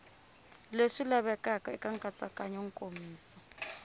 leswi lavekaka eka nkatsakanyo nkomiso